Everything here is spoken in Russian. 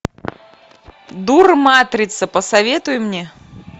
дурматрица посоветуй мне